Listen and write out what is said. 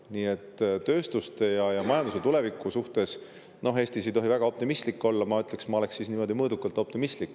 Nii et tööstuse ja majanduse tuleviku suhtes – no Eestis ei tohi väga optimistlik olla – ma ütleks, et ma olen niimoodi mõõdukalt optimistlik.